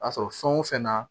A sɔrɔ fɛn o fɛn na